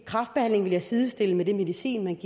kræftbehandling vil jeg sidestille med den medicin